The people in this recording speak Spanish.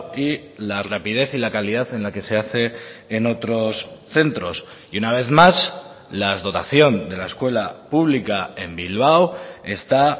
y la rapidez y la calidad en la que se hace en otros centros y una vez más la dotación de la escuela pública en bilbao está